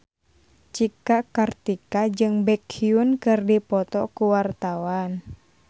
Cika Kartika jeung Baekhyun keur dipoto ku wartawan